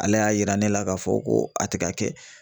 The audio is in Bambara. Ale y'a yira ne la k'a fɔ ko a tɛ ka kɛ